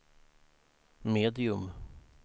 medium